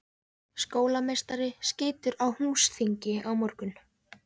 Skólameistari skýtur. á húsþingi á morgun.